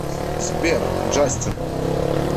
сбер джастин